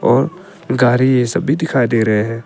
और गाड़ी ये सब दिखाई दे रहे हैं।